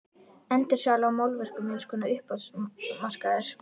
Endursala á málverkum er eins konar uppboðsmarkaður.